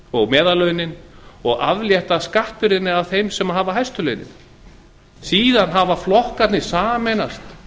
og meðallaunin og aflétta skattbyrðinni af þeim sem hafa hæstu launin síðan hafa flokkarnir sameinast